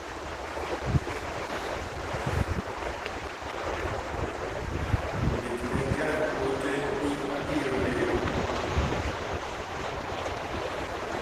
ndikne Jan ote ni abiro deko